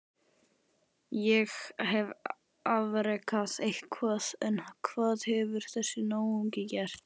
Ég hef afrekað eitthvað en hvað hefur þessi náungi gert?